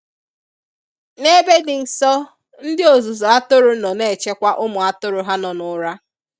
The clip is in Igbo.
N'ebe di nsọ ndi ozuzu atụrụ nọ n'echekwa ụmu atụrụ ha nọ n'ura.